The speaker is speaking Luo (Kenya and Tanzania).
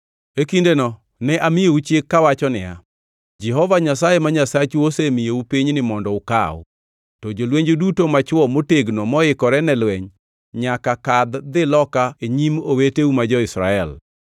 E kindeno ne amiyou chik kawacho niya, “Jehova Nyasaye ma Nyasachu osemiyou pinyni mondo ukaw, to jolwenju duto machwo motegno moikore ne lweny nyaka kadh dhi loka e nyim oweteu ma jo-Israel.